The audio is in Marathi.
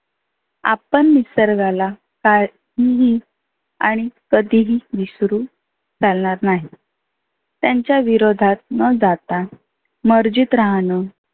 आपण निसर्गाला टाळ हम्म आणि कधी ही विसरू चालनार नाही. त्यांच्या विरोधात न जाता मर्जीत राहनं